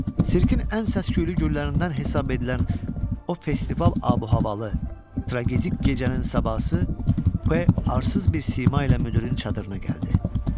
Sirkin ən səs-küylü günlərindən hesab edilən o festival ab-havalı tragik gecənin sabahısı P arsız bir sima ilə müdirin çadırına gəldi.